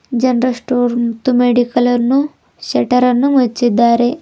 General store ಮತ್ತು medical ಅನ್ನು shutter ಅನ್ನು ಮುಚ್ಚಿದ್ದಾರೆ.